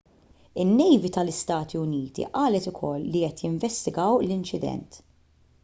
in-nejvi tal-istati uniti qalet ukoll li qed jinvestigaw l-inċident